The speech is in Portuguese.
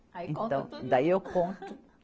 Aí conta tudo. Daí eu conto.